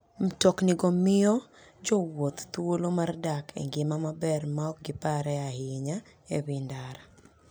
Mtoknigo miyo jowuoth thuolo mar dak e ngima maber maok giparre ahinya e wi ndara.